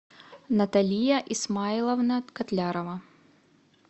наталия исмайловна котлярова